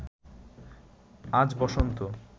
আজ বসন্ত